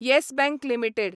yes Bank limited